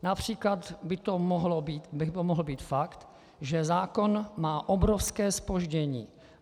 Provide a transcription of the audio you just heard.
Například by to mohl být fakt, že zákon má obrovské zpoždění.